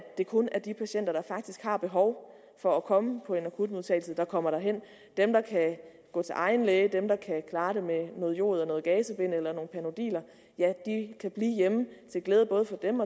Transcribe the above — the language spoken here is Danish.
det kun er de patienter der faktisk har behov for at komme på en akutmodtagelse der kommer derhen dem der kan gå til egen læge dem der kan klare det med noget jod og noget gazebind eller nogle panodiler kan blive hjemme til glæde både for dem